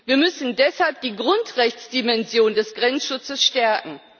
Wir müssen deshalb die Grundrechtsdimension des Grenzschutzes stärken.